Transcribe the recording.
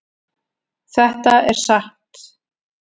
Þetta er satt.